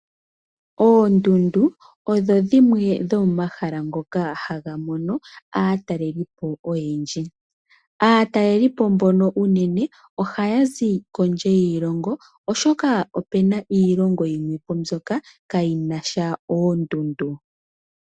Oondundu odho dhimwe dhomomahala ngoka haga mono aatalelipo oyendji. Aatalelipo mbono unene, oha ya zi kondje yiilongo oshoka opena iilongo yimwe po mbyoka ka yina sha oondundu.